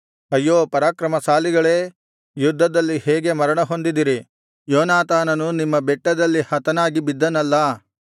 ಅಯ್ಯೋ ಪರಾಕ್ರಮಶಾಲಿಗಳೇ ಯುದ್ಧದಲ್ಲಿ ಹೇಗೆ ಮರಣ ಹೊಂದಿದಿರಿ ಯೋನಾತಾನನು ನಿಮ್ಮ ಬೆಟ್ಟದಲ್ಲಿ ಹತನಾಗಿ ಬಿದ್ದನಲ್ಲಾ